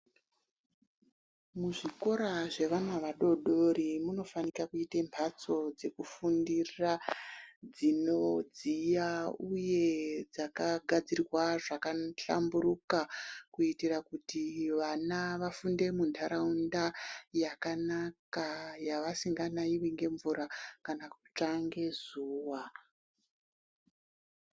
Muzvikora zvevana vadodori munofanika kuite mhatso dzekufundira dzinodziya, uye dzakagadzirwa zvakahlamburuka. kuitira kuti vana vafunde muntaraunda yakanaka yavasinga naivi nemvura kana kutsva ngezuva.